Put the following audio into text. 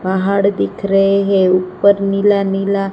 पहाड़ दिखे रहें हैं ऊपर नीला नीला--